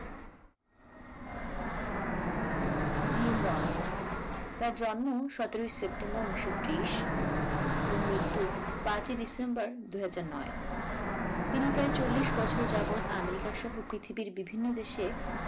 gym Rohn তার জন্ম সতেরই september উনিশশো ত্রিশ এবং মৃত্যু পাঁচই december দুইহাজার নয় তিনি প্রায় চল্লিশ বছর যাবত আমেরিকা সহ পৃথিবীর বিভিন্ন দেশে